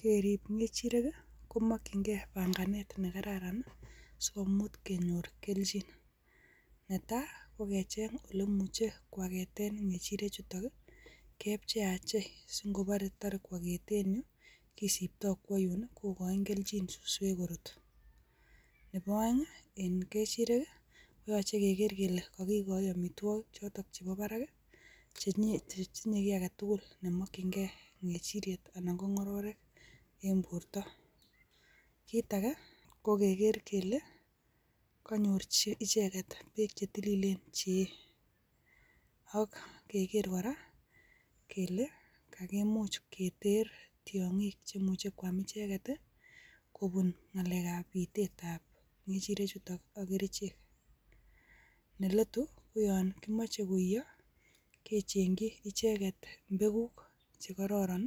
Keerib kechirek komokyingei panganet nekararan sikimuch kenyoor kelchin. Netai ko kecheng ole imuche ko aketen ngechirechutok i,kepcheiapchei singobore tore koaketeen en yuh kisiptoo kokochin kelchin suswek kot. Nebo oeng en kechirek koyoche koityii kele kokochi amitwogiik chotok chebo barak chetinye kit agetugul nemokyingei kechiriet anan ko ngororiet en bortoo. Kitage ko kegeer kele konyoor icheket beek chetilillen cheyee, ak kegeer kora kele kakimuch keter tiongiik cheimuche kwam icheket kobuun ngalekab bitetab kechirek chuton ak kerichek. Neletuu koyon kimoche koiyoo kechengchii icheket mbeguk chekororon